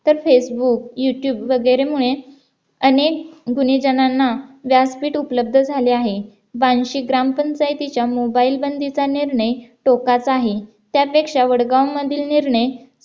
सतत Facebook YouTube वगैरे मुळे अनेक गुन्हेगारांना व्यासपीठ उपलब्ध झाले आहे बार्शी ग्रामपंचायतीच्या mobile बंदीचा निर्णय टोकाचा आहे त्यापेक्षा वडगाव मधील निर्णय